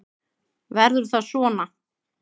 Verður það svona?